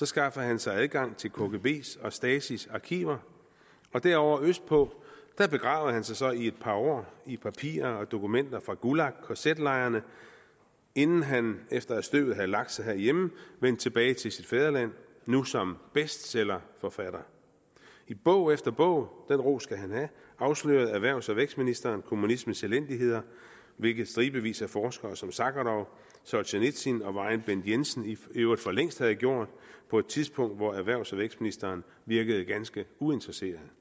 skaffede han sig adgang til kgbs og stasis arkiver og derovre østpå begravede han sig så i et par år i papirer og dokumenter fra gulag kz lejrene inden han efter at støvet havde lagt sig herhjemme vendte tilbage til sit fædreland nu som bestsellerforfatter i bog efter bog den ros skal han have afslørede erhvervs og vækstministeren kommunismens elendigheder hvilket stribevis af forskere som sakharov solsjenitsyn og vor egen bent jensen i øvrigt for længst havde gjort på et tidspunkt hvor erhvervs og vækstministeren virkede ganske uinteresseret